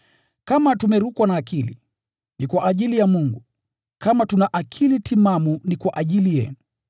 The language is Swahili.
Kama tumerukwa na akili, ni kwa ajili ya Mungu; kama tuna akili timamu, ni kwa ajili yenu.